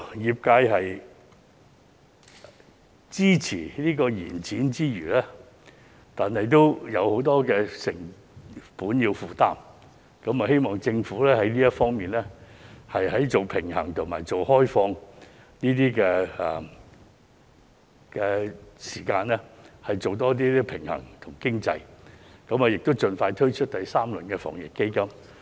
業界支持延展之餘，也有很多成本需要負擔，希望政府在平衡開放與封閉的時間方面，多從經濟角度考慮，並作出平衡，以及盡快推出第三輪防疫抗疫基金。